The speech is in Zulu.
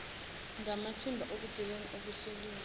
ngamathimba obugebengu obuhleliwe